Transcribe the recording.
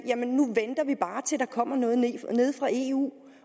der kommer noget nede fra eu